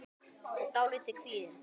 og dálítið kvíðin.